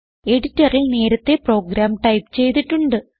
എഡിറ്ററിൽ നേരത്തേ programme type ചെയ്തിട്ടുണ്ട്